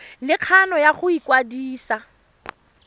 le kgano ya go ikwadisa